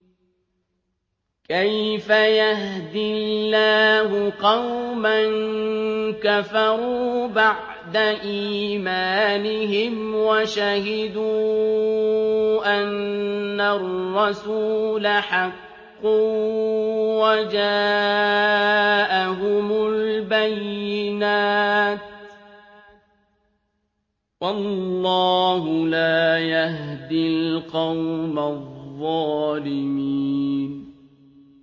كَيْفَ يَهْدِي اللَّهُ قَوْمًا كَفَرُوا بَعْدَ إِيمَانِهِمْ وَشَهِدُوا أَنَّ الرَّسُولَ حَقٌّ وَجَاءَهُمُ الْبَيِّنَاتُ ۚ وَاللَّهُ لَا يَهْدِي الْقَوْمَ الظَّالِمِينَ